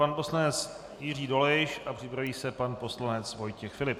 Pan poslanec Jiří Dolejš a připraví se pan poslanec Vojtěch Filip.